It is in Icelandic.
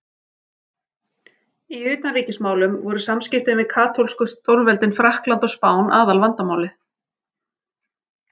Í utanríkismálum voru samskiptin við katólsku stórveldin Frakkland og Spán aðalvandamálið.